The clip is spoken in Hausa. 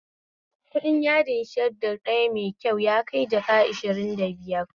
Kuɗin yadin shadda ɗaya mai kyau yakai jaka ashirin da biiyar